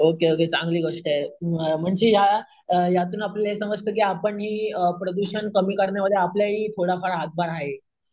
Okay okay चांगली गोष्ट म्हणजे या यातून आपल्याला हे समजतं की आपण ही प्रदूषण कमी करण्यामध्ये, आपलाही थोडाफार हातभार आहे.